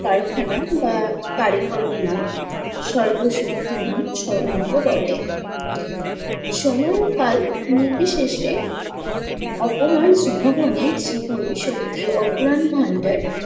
কারখানা বা নয় সর্বশক্তিমান স্বর্ণকও বটে। সময় ও কাল নীতি শেষে অপমান শক্তির অফুরান ভাণ্ডার